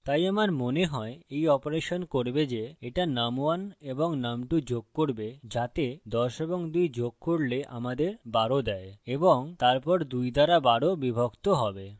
তাই আমার মনে হয় এই অপারেশন করবে যে এটা num1 এবং num2 যোগ করবে যাতে ১০ এবং ২ যোগ করলে আমাদের ১২ দেয় এবং তারপর ২ দ্বারা ১২ বিভক্ত হবে